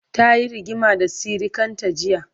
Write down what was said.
tayi rigima da sirikanta jiya